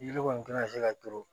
Yiri kɔni tɛna se ka turu